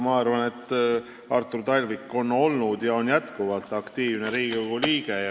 Ma arvan, et Artur Talvik on olnud ja on jätkuvalt aktiivne Riigikogu liige.